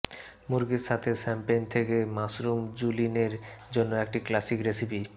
মুরগির সাথে শ্যাম্পেন থেকে মাশরুম জুলিনের জন্য একটি ক্লাসিক রেসিপি